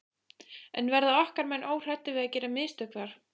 En verða okkar menn óhræddir við að gera mistök þar?